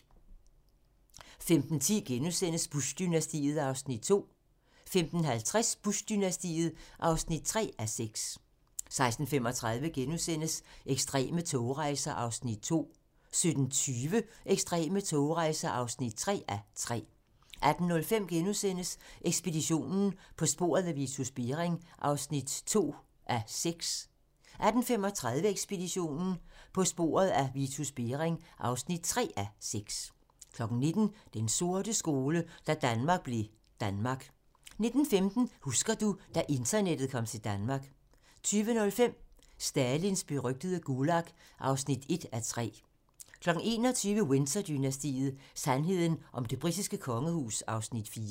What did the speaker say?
15:10: Bush-dynastiet (2:6)* 15:50: Bush-dynastiet (3:6) 16:35: Ekstreme togrejser (2:3)* 17:20: Ekstreme togrejser (3:3) 18:05: Ekspeditionen - På sporet af Vitus Bering (2:6)* 18:35: Ekspeditionen - På sporet af Vitus Bering (3:6) 19:00: Den sorte skole: Da Danmark blev Danmark 19:15: Husker du ...- da internettet kom til Danmark 20:05: Stalins berygtede Gulag (1:3) 21:00: Windsor-dynastiet: Sandheden om det britiske kongehus (Afs. 4)